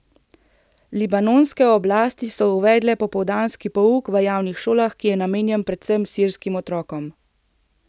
Libanonske oblasti so uvedle popoldanski pouk v javnih šolah, ki je namenjen predvsem sirskim otrokom.